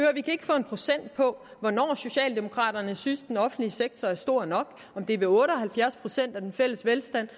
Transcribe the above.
få sat på hvornår socialdemokraterne synes den offentlige sektor er stor nok om det er ved otte og halvfjerds procent af den fælles velstand